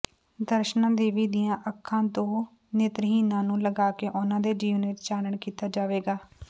ਦਰਸ਼ਨਾ ਦੇਵੀ ਦੀਆਂ ਅੱਖਾਂ ਦੋ ਨੇਤਰਹੀਨਾਂ ਨੂੰ ਲਗਾਕੇ ਉਨਾਂ ਦੇ ਜੀਵਨ ਵਿਚ ਚਾਨਣ ਕੀਤਾ ਜਾਵੇਗਾ